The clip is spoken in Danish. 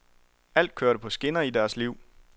Alt kørte på skinner i deres liv.